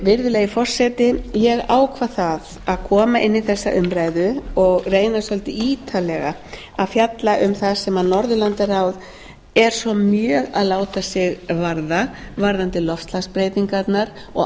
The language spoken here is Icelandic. virðulegi forseti ég ákvað að koma inn í þessa umræðu og reyna svolítið ítarlega að fjalla um það sem norðurlandaráð er svo mjög að láta sig varða varðandi loftslagsbreytingarnar og